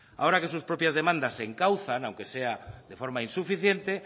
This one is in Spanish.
ahora que sus propias demandas se encauzan aunque sean de forma insuficiente